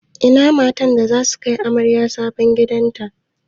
Ina matan da zasu kai amaryar sabon gidan ta?